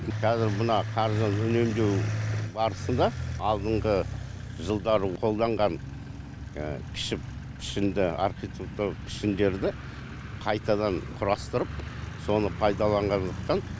қазір мына қаржыны үнемдеу барысында алдыңғы жылдары қолданған кіші пішінді архетиктуралық пішіндерді қайтадан құрастырып соны пайдаланғандықтан